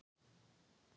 Smáragötu